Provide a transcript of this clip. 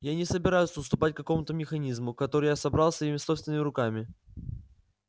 я не собираюсь уступать какому-то механизму который я собрал своими собственными руками